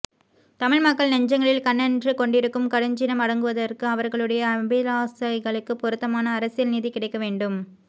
தமிழ் மக்கள் நெஞ்சங்களில் கனன்று கொண்டிருக்கும் கடுஞ்சினம் அடங்குவதற்க்கு அவர்களுடைய அபிலாசைகளுக்கு பொருத்தமான அரசியல் நீதி கிடைக்க வேண்டும்